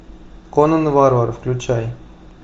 конан варвар включай